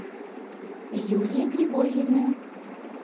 юлии григорьевне